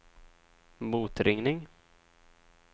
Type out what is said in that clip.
motringning